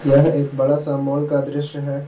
यह एक बड़ा सा मॉल का दृश्य है।